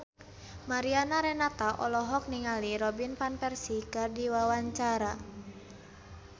Mariana Renata olohok ningali Robin Van Persie keur diwawancara